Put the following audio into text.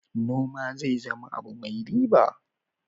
Noma zai zama abu mai riba.